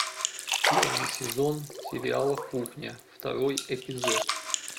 первый сезон сериала кухня второй эпизод